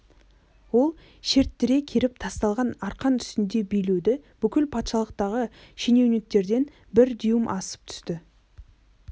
ол шерттіре керіп тасталған арқан үстінде билеуде бүкіл патшалықтағы шенеуніктерден бір дюйм асып түсіпті